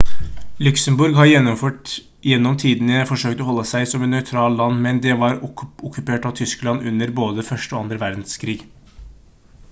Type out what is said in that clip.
luxembourg har gjennom tidene forsøkt å holde seg som et nøytralt land men det var okkupert av tyskland under både 1. og 2. verdenskrig